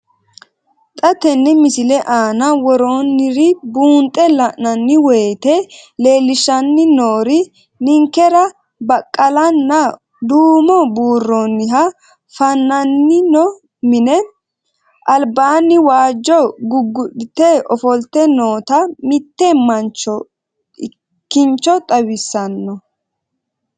Xa tenne missile aana worroonniri buunxe la'nanni woyiite leellishshanni noori ninkera baqqalanna duumo buurroonniha fa'namino mine. Albaanni waajjo guggu'lite ofolte noota mitte manchonna kincho xawissanno.